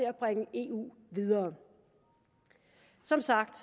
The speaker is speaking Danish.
at bringe eu videre som sagt